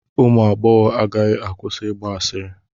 Ụmụ agbọghọ agaghị akwụsị ịgba asịrị.